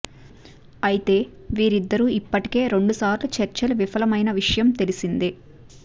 అయితే వీరిద్దరు ఇప్పటికే రెండు సార్లు చర్చలు విఫలమైన విషయం తెలిసిందే